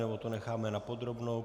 Nebo to necháme na podrobnou?